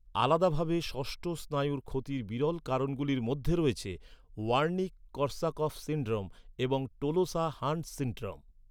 আলাদাভাবে ষষ্ঠ স্নায়ুর ক্ষতির বিরল কারণগুলির মধ্যে রয়েছে ওয়ার্নিক কর্স্যাকফ সিনড্রোম এবং টোলোসা হাণ্ট সিনড্রোম।